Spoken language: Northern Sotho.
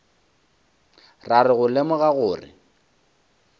ra re go lemoga gore